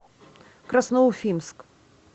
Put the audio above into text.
красноуфимск